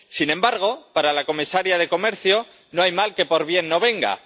Sin embargo, para la comisaria de Comercio no hay mal que por bien no venga.